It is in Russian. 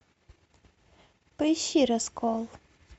поищи раскол